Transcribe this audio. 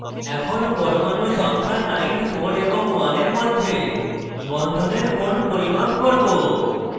পরমাণু সংখ্যা 94 এবং 1 for মধ্যে বন্ধনের কোণ পরিমাপ করব